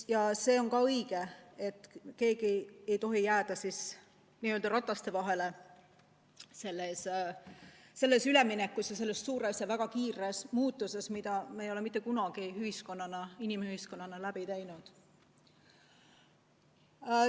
Ja see on ka õige, et keegi ei tohi selles üleminekus rataste vahele jääda – selles suures ja väga kiires muutuses, mida me ei ole mitte kunagi inimühiskonnana läbi teinud.